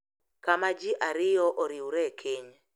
Kama ji ariyo oriwre e keny.